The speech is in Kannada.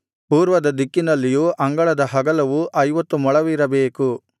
ಪೂರ್ವದ ದಿಕ್ಕಿನಲ್ಲಿಯೂ ಅಂಗಳದ ಅಗಲವು ಐವತ್ತು ಮೊಳವಿರಬೇಕು